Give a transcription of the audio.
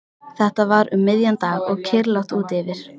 Þetta var um miðjan dag og kyrrlátt úti fyrir.